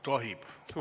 Tohib.